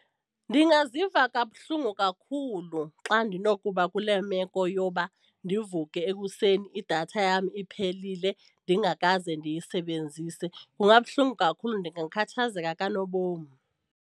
Ndingaziva kabuhlungu kakhulu xa ndinokuba kule meko yoba ndivuke ekuseni idatha yam iphelile ndingakaze ndiyisebenzise, kungabuhlungu kakhulu ndingakhathazeka kanobom.